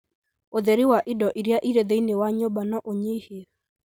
ũtheri wa indo iria irĩ thĩinĩ wa nyũmba no ũnyihie